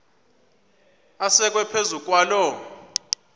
asekwe phezu kwaloo